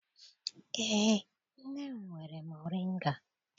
Eé, nne m nwere moringa.